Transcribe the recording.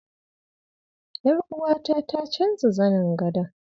Ƴaruwata ta canza zanin gadon.